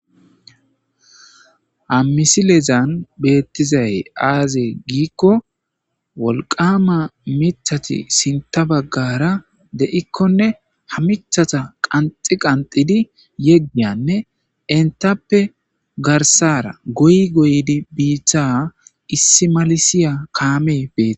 hamisilezan beettizay aaze giikko wolqama mithati sinta baggara de7ikkone hamicthata qanxi qanxidi yeggiyanne entappe garsara goy goydi biitta issi malisiya kaamey betes